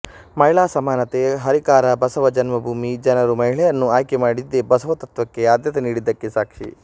ಮಹಿಳಾ ಸಮಾನತೆ ಹರಿಕಾರ ಬಸವ ಜನ್ಮಭೂಮಿ ಜನರು ಮಹಿಳೆಯನ್ನು ಆಯ್ಕೆ ಮಾಡಿದ್ದೇ ಬಸವ ತತ್ವಕ್ಕೆ ಆದ್ಯತೆ ನೀಡಿದ್ದಕ್ಕೆ ಸಾಕ್ಷಿ